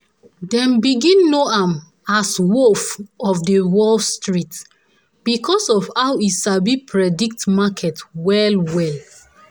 dem begin know am as "wolf of the wall street" because of how e sabi predict market well well.